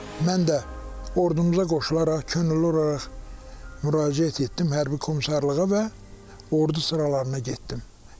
mən də ordumuza qoşularaq könüllü olaraq müraciət etdim hərbi komissarlığa və ordu sıralarına getdim həkim kimi.